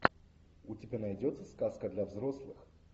у тебя найдется сказка для взрослых